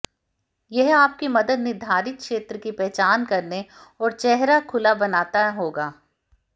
यह आपकी मदद निर्धारित क्षेत्र की पहचान करने और चेहरा खुला बनाता होगा